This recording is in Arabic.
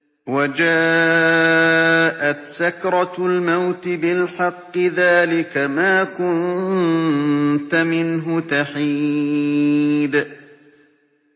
وَجَاءَتْ سَكْرَةُ الْمَوْتِ بِالْحَقِّ ۖ ذَٰلِكَ مَا كُنتَ مِنْهُ تَحِيدُ